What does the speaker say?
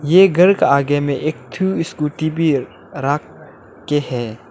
यह घर का आगे में एक ठो स्कूटी भी है राख के हैं।